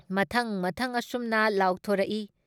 ꯃꯊꯪ ꯃꯊꯪ ꯑꯁꯨꯝꯅ ꯂꯥꯎꯊꯣꯛꯔꯛꯏ ꯫